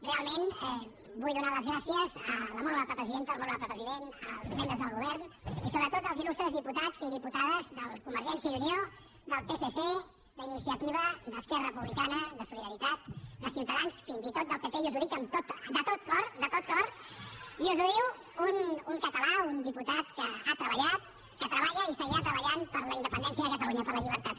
realment vull donar les gràcies a la molt honorable presidenta al molt honorable president als membres del govern i sobretot als illustres diputats i diputades de convergència i unió del psc d’iniciativa d’esquerra republicana de solidaritat de ciutadans fins i tot del pp i us ho dic de tot cor de tot cor i us ho diu un català un diputat que ha treballat que treballa i seguirà treballant per la independència de catalunya per la llibertat